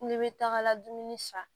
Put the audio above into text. Kule bɛ taga dumuni san